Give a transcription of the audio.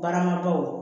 Baaramadɔw